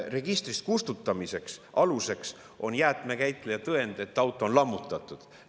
Registrist kustutamise aluseks on jäätmekäitleja tõend, et auto on lammutatud.